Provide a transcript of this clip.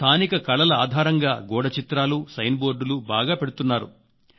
స్థానిక కళల ఆధారంగా గోడచిత్రాలు సైన్ బోర్డులు బాగా పెడుతున్నారు